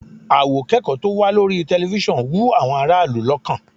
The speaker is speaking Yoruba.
Àwòkẹ́kọ̀ọ́ tó wà lórí tẹlifíṣọ̀n wú àwọn ará ìlú lọ́kàn